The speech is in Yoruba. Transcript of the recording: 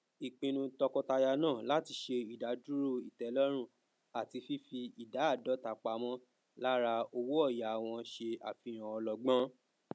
ìpinnu tọkọtaya náà láti ṣe ìdadúró ìtẹlọrun àti fífi ìdá áàdọta pamọ lára owóòyà wọn se àfihàn ọlọgbọn